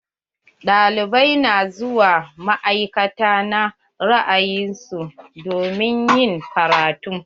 Ɗalibai na zuwa ma'aikata na ra'ayin su domin ƴin karatu.